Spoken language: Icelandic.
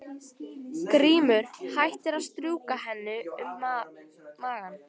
Grímur hættir að strjúka henni um magann.